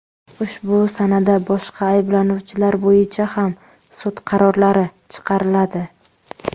Ushbu sanada boshqa ayblanuvchilar bo‘yicha ham sud qarorlari chiqariladi.